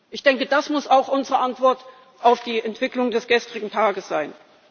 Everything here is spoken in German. Ich denke, das muss auch unsere Antwort auf die Entwicklung des gestrigen Tages sein.